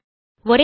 ஒரே மாற்றம்